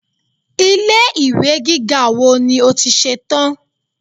Ilé ìwé gíga wo ni ó ti ṣe tán?